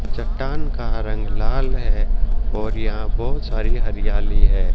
चट्टान का रंग लाल है और यहां बहोत सारी हरियाली है।